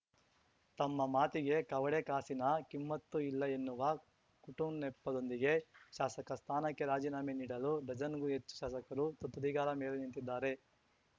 ತಮ್ಮ ಮಾತಿಗೆ ಕವಡೆ ಕಾಸಿನ ಕಿಮ್ಮತ್ತು ಇಲ್ಲ ಎನ್ನುವ ಕುಟುಂನೆಪ್ಪದೊಂದಿಗೆ ಶಾಸಕ ಸ್ಥಾನಕ್ಕೆ ರಾಜೀನಾಮೆ ನೀಡಲು ಡಜನ್‌ಗೂ ಹೆಚ್ಚು ಶಾಸಕರು ತುದಿಗಾಲ ಮೇಲೆ ನಿಂತಿದ್ದಾರೆ